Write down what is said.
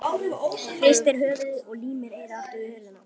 Hristir höfuðið og límir eyrað aftur við hurðina.